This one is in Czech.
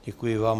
Děkuji vám.